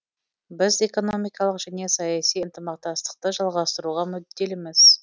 біз экономикалық және саяси ынтымақтастықты жалғастыруға мүдделіміз